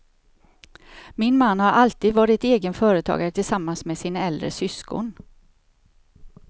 Min man har alltid varit egen företagare tillsammans med sin äldre syskon.